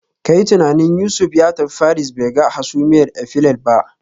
Ka yi tunanin Yusuf ya tafi Paris bai ga hasumiyar Eiffel ba